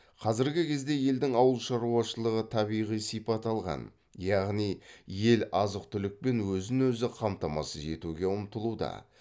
қазіргі кезде елдің ауыл шаруашылығы табиғи сипат алған яғни ел азық түлікпен өзін өзі қамтамасыз етуге ұмтылуда